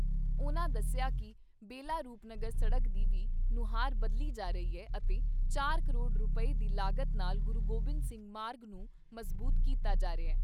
ਉਨ੍ਹਾਂ ਦੱਸਿਆ ਕਿ ਬੇਲਾ ਰੂਪਨਗਰ ਸੜਕ ਦੀ ਵੀ ਨੁਹਾਰ ਬਦਲੀ ਜਾ ਰਹੀ ਅਤੇ ਚਾਰ ਕਰੋੜ ਰੁਪਏ ਦੀ ਲਾਗਤ ਨਾਲ ਗੁਰੂ ਗੋਬਿੰਦ ਸਿੰਘ ਮਾਰਗ ਨੂੰ ਮਜ਼ਬੂਤ ਕੀਤਾ ਜਾ ਰਿਹਾ।